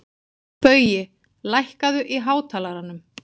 Baui, lækkaðu í hátalaranum.